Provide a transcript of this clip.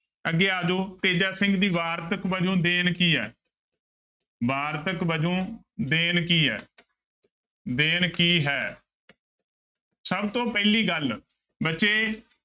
ਅੱਗੇ ਆ ਜਾਓ ਤੇਜਾ ਸਿੰਘ ਦੀ ਵਾਰਤਕ ਵਜੋਂ ਦੇਣ ਕੀ ਹੈ ਵਾਰਤਕ ਵਜੋਂ ਦੇਣ ਕੀ ਹੈ ਦੇਣ ਕੀ ਹੈ ਸਭ ਤੋਂ ਪਹਿਲੀ ਗੱਲ ਬੱਚੇ